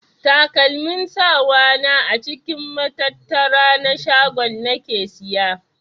Takalmin sawa na a cikin matattara na shaguna nake siya.